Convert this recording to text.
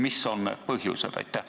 Mis on need põhjused?